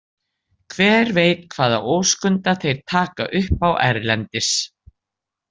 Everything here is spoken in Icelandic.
Hver veit hvaða óskunda þeir taka upp á erlendis?